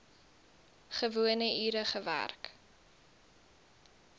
gewone ure gewerk